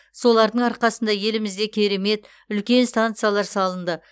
солардың арқасында елімізде керемет үлкен станциялар салынды